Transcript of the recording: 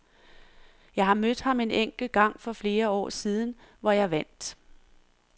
Jeg har mødt ham en enkelt gang for flere år siden, hvor jeg vandt.